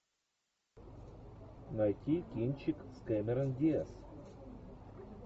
найти кинчик с кэмерон диаз